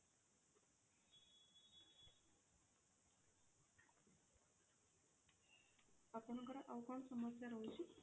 ଆପଣଙ୍କର ଆଉ କଣ ସମସ୍ୟା ରହୁଛି?